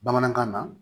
Bamanankan na